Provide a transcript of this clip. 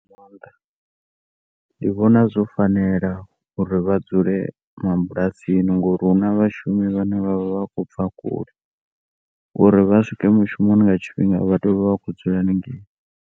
Ndi vhona zwo fanela uri vhadzule mabulasani ngauri huna vhashumi vhane vha khou bva kule uri vha swika mushumoni nga tshifhinga vha tea u vha vha khou dzula hanengei.